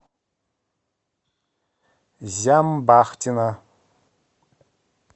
зямбахтина